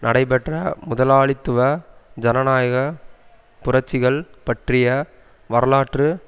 நடைபெற்ற முதலாளித்துவ ஜனநாயக புரட்சிகள் பற்றிய வரலாற்று